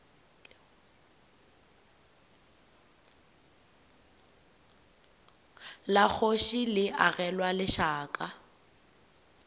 la kgoši le agelwa lešaka